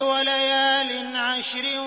وَلَيَالٍ عَشْرٍ